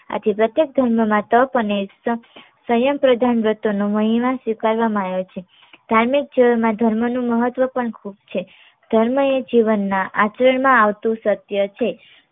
આથી પ્રત્યેક ધર્મમાં તપ અને સંયમ પ્રધાન વ્રતોનો મહિમા સ્વીકારવામાં આયો છે. ધાર્મિક જીવનમાં ધર્મ નો મહત્વ પણ ખૂબ છે. ધર્મ એ જીવન ના આચરણમાં આવતું સત્ય છે.